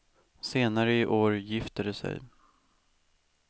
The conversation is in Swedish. Senare i år gifter de sig.